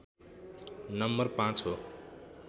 number ५ हो